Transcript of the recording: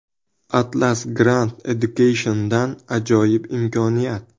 Atlas Grand Education’dan ajoyib imkoniyat!!!.